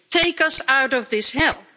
Take us out of this hell'.